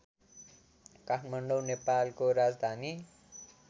काठमाडौ नेपालको राजधानी